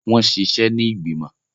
Wọn ṣiṣẹ ni igbimọ.